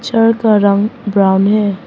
Chair का रंग brown है।